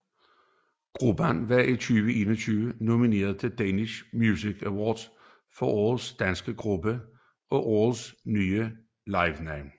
Gruppen var i 2021 nomineret til to Danish Music Awards for Årets Danske Gruppe og Årets Nye Livenavn